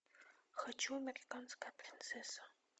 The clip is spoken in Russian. хочу американская принцесса